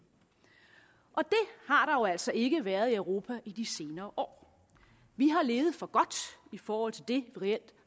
altså ikke været i europa i de senere år vi har levet for godt i forhold til det vi reelt